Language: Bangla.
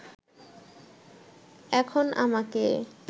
এখন আমাকে